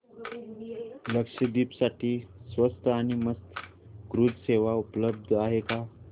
लक्षद्वीप साठी स्वस्त आणि मस्त क्रुझ सेवा उपलब्ध आहे का